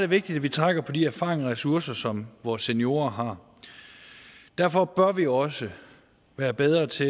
vigtigt at vi trækker på de erfaringer og ressourcer som vores seniorer har derfor bør vi også være bedre til